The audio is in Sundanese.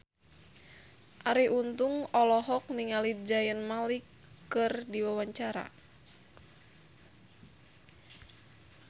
Arie Untung olohok ningali Zayn Malik keur diwawancara